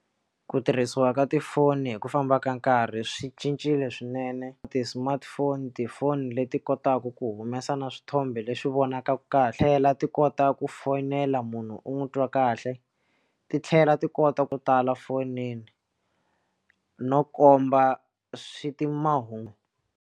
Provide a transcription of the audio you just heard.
Ku tirhisiwa ka tifoni hi ku famba ka nkarhi swi cincile swinene ti-smartphone tifoni leti kotaka ku humesa na swithombe leswi vonakaka kahle la ti kota ku fonela munhu u n'wi twa kahle titlhela ti kota ku tala fonini no komba swi ti mahungu.